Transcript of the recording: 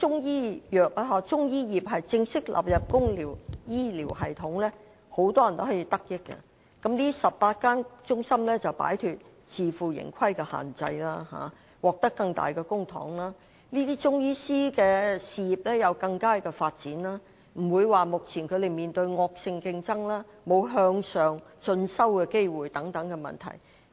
如果中醫業正式加入公營醫療系統，很多人也可以得益，而這18間中心也可擺脫自負盈虧的限制，獲得更多公帑，中醫師便能有較好事業發展，不用面對惡性競爭，更不愁沒有進修的機會。